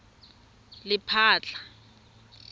lephatla